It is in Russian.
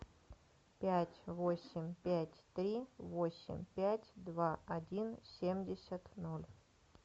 пять восемь пять три восемь пять два один семьдесят ноль